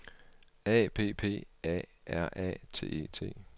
A P P A R A T E T